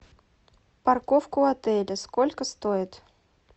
парковка у отеля сколько стоит